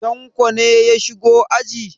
Tanko ne ya shigo aji?